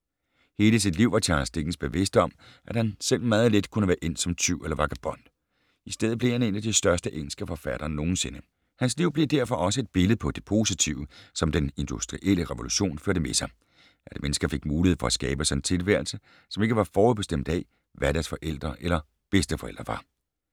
Hele sit liv var Charles Dickens bevidst om, at han selv meget let kunne være endt som tyv eller vagabond. I stedet blev han en af de største engelske forfattere nogensinde. Hans liv blev derfor også et billede på det positive, som den industrielle revolution førte med sig: At mennesker fik mulighed for at skabe sig en tilværelse, som ikke var forudbestemt af, hvad deres forældre eller bedsteforældre var.